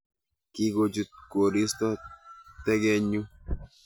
Kikochut koristo tekenyu